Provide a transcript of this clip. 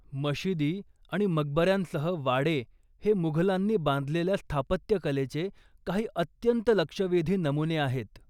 मशिदी आणि मकबऱ्यांसह वाडे हे मुघलांनी बांधलेल्या स्थापत्यकलेचे काही अत्यंत लक्षवेधी नमुने आहेत.